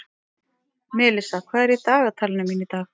Melissa, hvað er í dagatalinu mínu í dag?